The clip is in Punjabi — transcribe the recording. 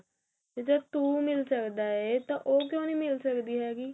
ਜਦੋਂ ਤੂੰ ਮਿਲ ਸਕਦਾ ਤਾਂ ਉਹ ਕਿਉ ਨੀ ਮਿਲ ਸਕਦੀ ਹੈਗੀ